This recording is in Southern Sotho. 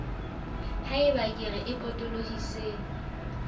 ha eba kere e potolohisang